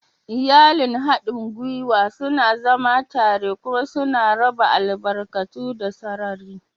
Iyalin haɗin gwiwa suna zama tare kuma suna raba albarkatu da sarari.